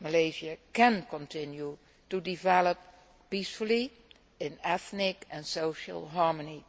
Malaysia can continue to develop peacefully in ethnic and social harmony.